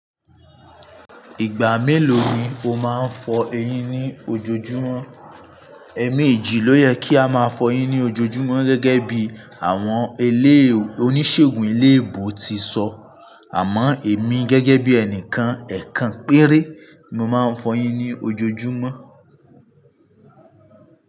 Ìgbà mélòó ni o máa ń fọ eyín ní ojoojúmọ́? Ẹ̀mi èjì ló yẹ kí a máa fọ eyín ní ojoojúmọ́ gẹ́gẹ́ bí àwọn eléè oníṣègùn eléèbò ti sọ. Àmọ èmi gẹ́gẹ́ bí ẹnìkan ẹ̀kan péré, mo máa ń fọ eyín ní ojoojúmọ́